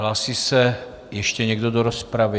Hlásí se ještě někdo do rozpravy?